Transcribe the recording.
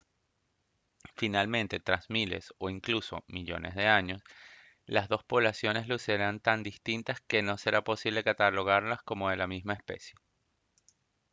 finalmente tras miles o incluso millones de años las dos poblaciones lucirán tan distintas que no será posible catalogarlas como de la misma especie